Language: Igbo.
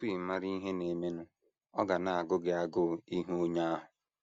Tupu ị mara ihe na - emenụ, ọ ga na - agụ gị agụụ ịhụ onye ahụ.